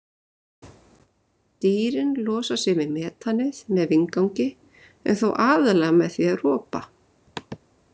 Dýrin losa sig við metanið með vindgangi en þó aðallega með því að ropa.